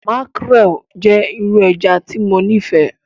Makrel jẹ iru ẹja ti Mo nifẹ